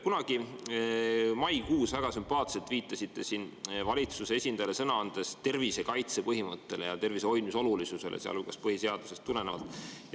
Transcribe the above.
Kunagi maikuus te siin valitsuse esindajale sõna andes väga sümpaatselt viitasite tervisekaitse põhimõttele ja tervise hoidmise olulisusele, sealhulgas põhiseadusest tulenevalt.